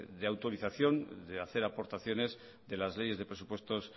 de autorización de hacer aportaciones de las leyes de presupuestos